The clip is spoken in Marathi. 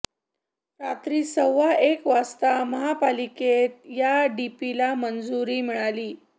रात्री सव्वा एक वाजता महापालिकेत या डीपीला मंजुरी मिळाली